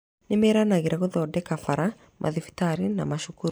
Nĩmeranagĩra gũthondeka bara, mathibitarĩ na macukuru